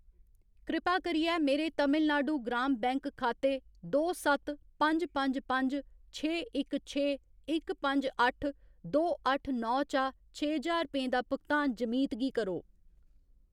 कृपा करियै मेरे तमिलनाडु ग्राम बैंक खाते दो सत्त पंज पंज पंज छे इक छे इक पंज अट्ठ दो अट्ठ नौ चा छे ज्हार रपेंऽ दा भुगतान जमीत गी करो।